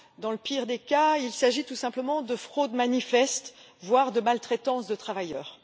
Dans le pire des cas, il s'agit tout simplement de fraude manifeste, voire de maltraitance de travailleurs.